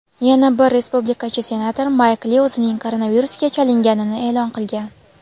yana bir respublikachi senator Mayk Li o‘zining koronavirusga chalinganini e’lon qilgan.